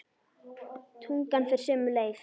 Tungan fer sömu leið.